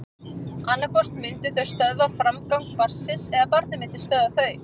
Annað hvort myndu þau stöðva framgang barnsins eða barnið myndi stöðva þau.